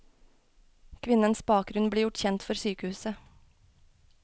Kvinnens bakgrunn ble gjort kjent for sykehuset.